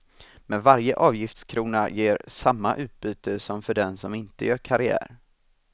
Men varje avgiftskrona ger samma utbyte som för den som inte gör karriär.